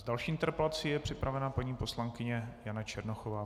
S další interpelací je připravena paní poslankyně Jana Černochová.